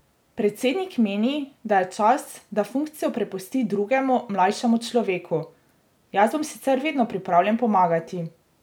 Predsednik meni, da je čas, da funkcijo prepusti drugemu, mlajšemu človeku: "Jaz bom sicer vedno pripravljen pomagati.